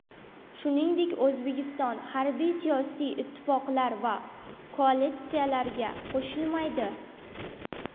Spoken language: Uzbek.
Shuningdek, O‘zbekiston harbiy-siyosiy ittifoqlar va koalitsiyalarga qo‘shilmaydi.